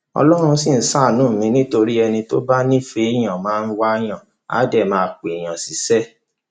ọlọrun ṣì ń ṣàánú mi nítorí ẹni tó bá nífẹẹ èèyàn máa wáàyàn àá dé pé èèyàn ṣiṣẹ